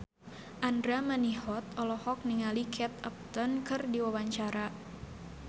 Andra Manihot olohok ningali Kate Upton keur diwawancara